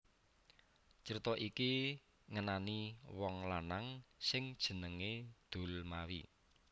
Crita iki ngenani wong lanang sing jenengé Dulmawi